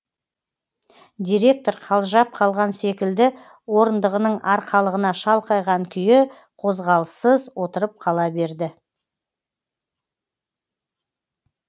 директор қалжырап қалған секілді орындығының арқалығына шалқайған күйі қозғалыссыз отырып қала берді